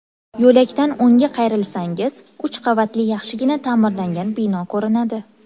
Yo‘lakdan o‘ngga qayrilsangiz, uch qavatli yaxshigina ta’mirlangan bino ko‘rinadi.